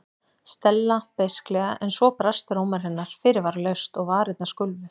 Stella beisklega en svo brast rómur hennar fyrirvaralaust og varirnar skulfu.